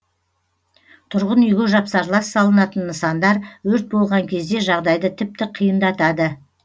тұрғын үйге жапсарлас салынатын нысандар өрт болған кезде жағдайды тіпті қиындатады